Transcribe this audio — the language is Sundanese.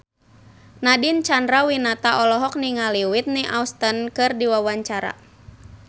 Nadine Chandrawinata olohok ningali Whitney Houston keur diwawancara